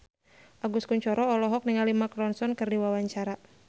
Agus Kuncoro olohok ningali Mark Ronson keur diwawancara